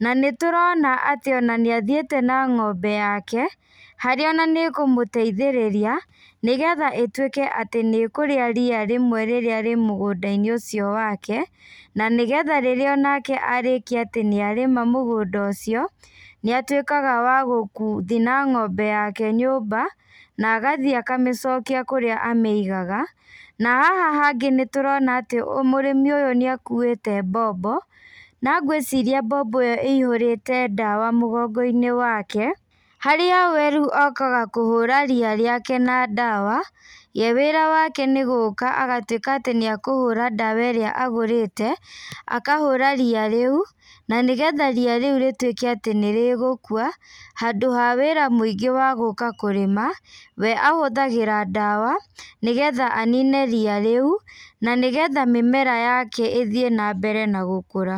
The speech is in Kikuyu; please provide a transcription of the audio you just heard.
na nĩtũrona atĩ ona nĩathiĩte na ng'ombe yake, harĩa na nĩ kũmũteithĩrĩria, nĩgetha ĩtuĩke atĩ nĩkũrĩa ria rĩmwe rĩrĩa rĩ mũgũndainĩ ũcio wake, na nĩgetha rĩrĩa onake arĩkia atĩ nĩarĩma mũgũnda ũcio, nĩatuĩkaga wa gũ kũthiĩ na ng'ombe yake nyũmba, na agathiĩ akamĩcokia kũrĩa amĩigaga, na haha hangĩ nĩtũrona atĩ ũ mũrĩmi ũyũ nĩakuĩte mbombo, na ngwĩciria mbombo ĩyo ĩihũrĩte ndawa mũgongoinĩ wake, harĩa we rĩu okaga kũhũra ria rĩake na ndawa, we wĩra wake nĩgũka agatuĩka atĩ nĩakũhũra ndawa ĩrĩa agũrĩte, akahũra ria rĩu, na nĩgetha ria rĩu rĩtuĩke atĩ nĩrĩgũkua, handũ wa wĩra mũingĩ wa gũka kũrĩma, we ahũthagĩra ndawa, nĩgetha anine ria rĩũ, na nĩgetha mĩmera yake ĩthiĩ nambere na gũkũra.